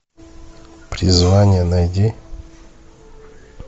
призвание найди